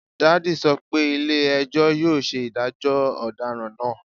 Daddy sọ pe ile-ẹjọ yoo ṣe idajọ ọdaràn naa